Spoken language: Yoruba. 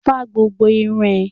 Fá gbogbo irun ẹ!